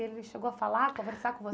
Ele chegou a falar, conversar com